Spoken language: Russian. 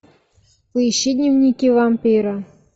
поищи дневники вампира